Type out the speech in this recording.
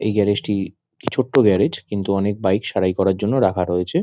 এই গ্যারেজ টি ছোট্ট গ্যারেজ কিন্তু অনেক বাইক সারাই করার জন্য রাখা রয়েছে।